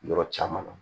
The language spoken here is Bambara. Yɔrɔ caman na